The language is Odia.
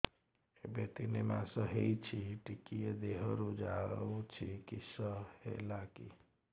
ଏବେ ତିନ୍ ମାସ ହେଇଛି ଟିକିଏ ଦିହରୁ ଯାଉଛି କିଶ ହେଲାକି